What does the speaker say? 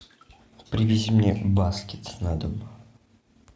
привези мне баскет на дом